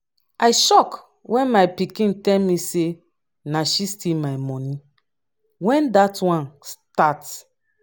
i shock wen my pikin tell me say na she steal my money. wen dat one start?